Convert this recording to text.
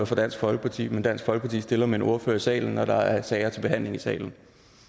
for dansk folkeparti men dansk folkeparti stiller med en ordfører i salen når der er sager til behandling i salen